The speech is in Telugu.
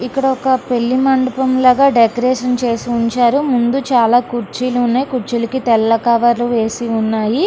ఇక్కడ ఒక పెళ్లి మండపం లాగా డెకరేషన్ చేసి ఉంచారు ముందు చాలా కుర్చీలు ఉన్నాయి కుర్చీలకి తెల్ల కవరు లు వేసివున్నాయి.